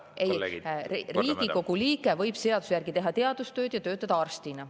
Riigikogu liige võib seaduse järgi teha teadustööd ja töötada arstina.